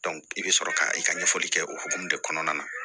i bɛ sɔrɔ ka i ka ɲɛfɔli kɛ o hokumu de kɔnɔna na